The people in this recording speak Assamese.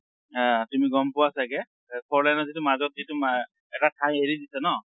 আ তুমি গম পোৱা চাগে, আ four lane ত যিটো মাজত যিটো মা এটা হেৰি দিছে ন